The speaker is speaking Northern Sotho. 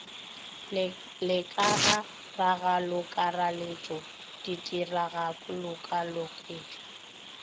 le ka ga ragalokakaretšo ditiragalokakaretšo